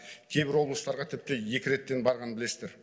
кейбір облыстарға тіпті екі реттен барғанын білесіздер